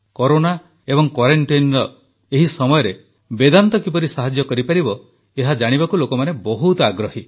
corona ଏବଂ କ୍ୱାରେଂଟାଇନ୍ରେ ଏହି ସମୟରେ ବେଦାନ୍ତ କିପରି ସାହାଯ୍ୟ କରିପାରିବ ଏହା ଜାଣିବାକୁ ଲୋକମାନେ ବହୁତ ଆଗ୍ରହୀ